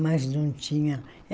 mas não tinha.